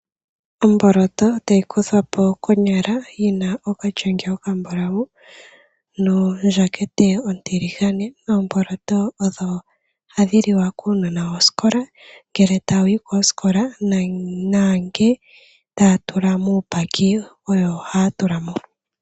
Omboloto tayi kuthwapo konyala yina okalyenge okambulawu nondjakete ontiligane. Omboloto odho hadhiliwa kuunona wosikola ngele ta wuyi kosikola nange taya tula muumbaki, oyo haya tulamo.